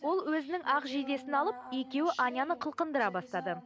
ол өзінің ақ жейдесін алып екеуі аняны қылқындыра бастады